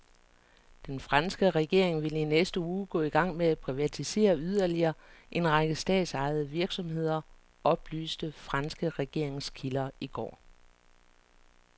Den franske regering vil i næste uge gå i gang med at privatisere yderligere en række statsejede virksomheder, oplyste franske regeringskilder i går.